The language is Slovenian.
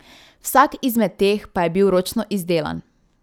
Vsak izmed teh pa je bil ročno izdelan.